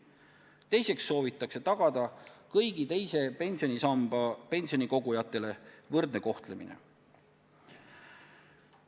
Teiseks soovitakse tagada kõigi teise pensionisambasse kogujate võrdne kohtlemine.